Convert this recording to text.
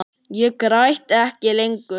Ég græt ekki lengur.